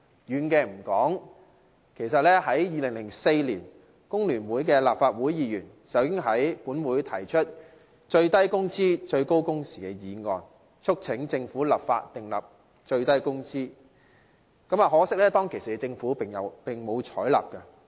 遠的暫且不說，在2004年，工聯會的立法會議員已在本會提出"最低工資、最高工時"議案，促請政府立法訂定最低工資，可惜當時政府並無採納。